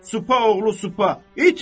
Süpa oğlu süpa, itil!